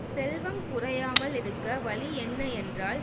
செல்வம் குறையாமல் இருக்க வழி என்ன என்றால்